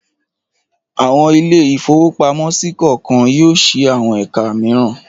Àwọn ilé-ìfowópamọ́sí kọ̀ọ̀kan yóò ṣí àwọn ẹ̀ka mìíràn.